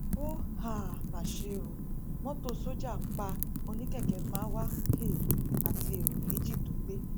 ó um mà ṣe ó mọtò sójà pa oníkẹkẹ marwa um àti ẹrọ méjì tó gbé